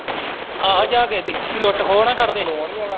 ਆਹੇ ਜਾ ਕਿਸੇ ਦੀ ਲੁੱਟ ਖੋਹ ਨਾ ਕਰਦੇ